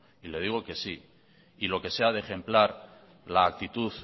y le digo que sí y lo que sea de ejemplar la actitud